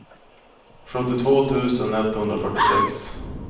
sjuttiotvå tusen etthundrafyrtiosex